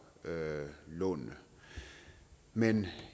lånene men